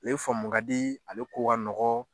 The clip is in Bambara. U ye famu ka di ale ko ka nɔgɔn